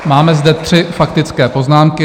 Máme zde tři faktické poznámky.